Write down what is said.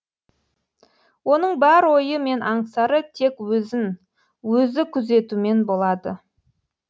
оның бар ойы мен аңсары тек өзін өзі күзетумен болады